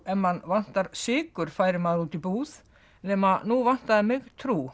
ef mann vantar sykur færi maður útí búð nema nú vantaði mig trú